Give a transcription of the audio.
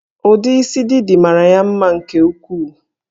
Ụdị isi Didi mara ya mma nke ukwuu